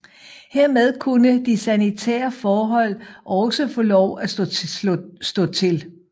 Hermed kunne de sanitære forhold også få lov at stå til